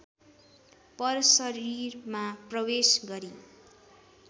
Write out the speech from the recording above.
परशरीरमा प्रवेश गरी